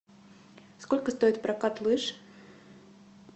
сколько стоит прокат лыж